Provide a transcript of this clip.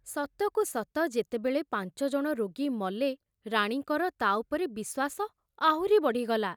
ସତକୁ ସତ ଯେତେବେଳେ ପାଞ୍ଚ ଜଣ ରୋଗୀ ମଲେ, ରାଣୀଙ୍କର ତା ଉପରେ ବିଶ୍ବାସ ଆହୁରି ବଢ଼ିଗଲା।